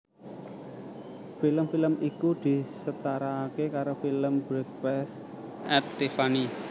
Film film iku disetarake karo film Breakfast at Tiffany